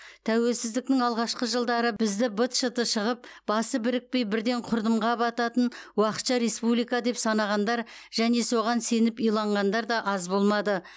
тәуелсіздіктің алғашқы жылдары бізді быт шыты шығып басы бірікпей бірден құрдымға бататын уақытша республика деп санағандар және соған сеніп иланғандар аз болмады